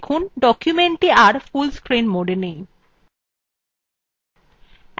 দেখুন documentthe আর full screen modewe নেই